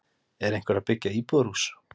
Er einhver að byggja íbúðarhús?